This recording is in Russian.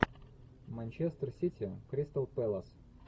манчестер сити кристал пэлас